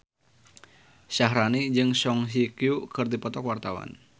Syaharani jeung Song Hye Kyo keur dipoto ku wartawan